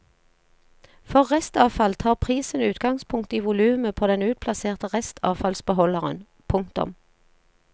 For restavfall tar prisen utgangspunkt i volumet på den utplasserte restavfallsbeholderen. punktum